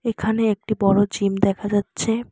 এখানে একটি বড়ো জিম দেখা যাচ্ছে।